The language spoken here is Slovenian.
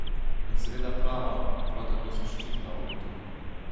In seveda prava, prav tako zaščitna obutev.